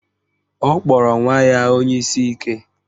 Ọ kpọrọ nwa ya onye isi ike